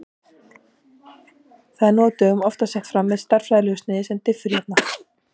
Það er nú á dögum oftast sett fram með stærðfræðilegu sniði sem diffurjafna.